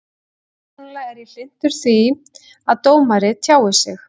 Persónulega er ég hlynntur því að dómarar tjái sig.